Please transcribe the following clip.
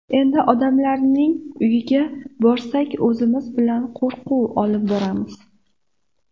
Endi odamlarning uyiga borsak, o‘zimiz bilan qo‘rquv olib boramiz.